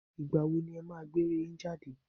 Ìgbà wo ni ẹ máa gbé eré yín jáde